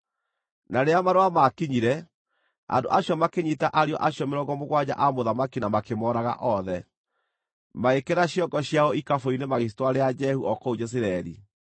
Na rĩrĩa marũa maakinyire, andũ acio makĩnyiita ariũ acio mĩrongo mũgwanja a mũthamaki na makĩmooraga othe. Magĩĩkĩra ciongo ciao ikabũ-inĩ, magĩcitwarĩra Jehu o kũu Jezireeli.